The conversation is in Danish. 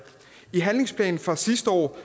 i handlingsplanen fra sidste år